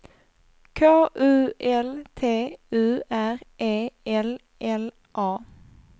K U L T U R E L L A